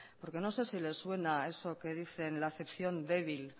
porque no sé si les suena eso que dicen la acepción débil